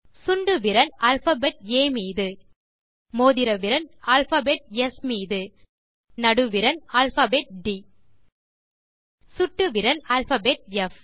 சுண்டுவிரல் alphabet ஆ மீது மோதிர விரல் அல்பாபெட் ஸ் மீது நடுவிரல் அல்பாபெட் ட் சுட்டு விரல் அல்பாபெட் ப்